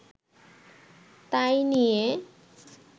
তাই নিয়ে